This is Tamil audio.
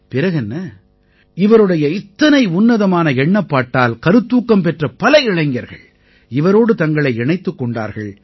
பிறகு என்ன இவருடைய இத்தனை உன்னதமான எண்ணப்பாட்டால் கருத்தூக்கம் பெற்ற பல இளைஞர்கள் இவரோடு தங்களை இணைத்துக் கொண்டார்கள்